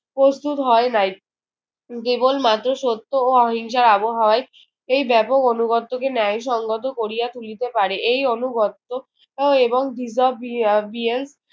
প্রস্তুত হয় নাই। কেবলমাত্র সত্য ও অহিংসার আবহাওয়াই এই ব্যাপক অনুগত্যকে ন্যায়সঙ্গত করিয়া তুলিতে পারে। এই অনুগত্য আহ এবং